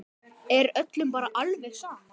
Er öllum bara alveg sama?